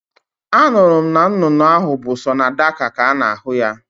Anụrụ m na nnụnụ ahụ bụ sọ na Dhaka ka a na-ahụ ya